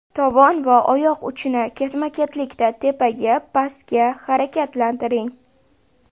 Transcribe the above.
Tovon va oyoq uchini ketma-ketlikda tepaga, pastga harakatlantiring.